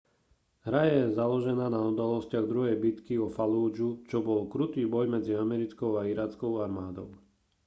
hra je založená na udalostiach druhej bitky o fallúdžu čo bol krutý boj medzi americkou a irackou armádou